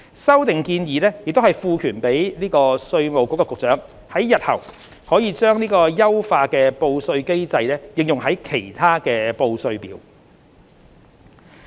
修訂建議也賦權稅務局局長在日後把優化的報稅機制應用於其他報稅表。